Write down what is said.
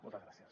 moltes gràcies